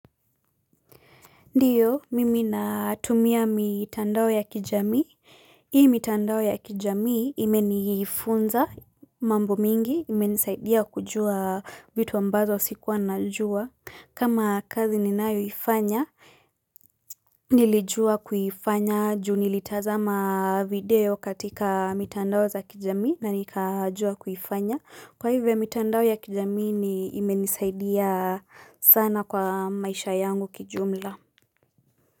Ndiyo, mimi natumia mitandao ya kijamii. Hii mitandao ya kijamii imenifunza mambo mingi, imenisaidia kujua vitu ambazo sikuwa najua. Kama kazi ninayo ifanya, nilijua kuifanya, juu nilitazama video katika mitandao za kijamii na nikajua kuifanya. Kwa hivyo, mitandao ya kijamii imenisaidia sana kwa maisha yangu kijumla.